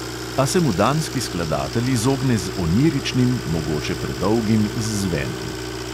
A se mu danski skladatelj izogne z oniričnim, mogoče predolgim izzvenom.